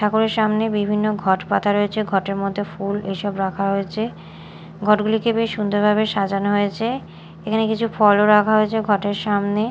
ঠাকুরের সামনে বিভিন্ন ঘট পাতা রয়েছে ঘটের মধ্যে ফুল এইসব রাখা হয়েছে ঘটগুলিকে বেশ সুন্দরভাবে সাজানো হয়েছে এখানে কিছু ফলও রাখা হয়েছে ঘটের সামনে।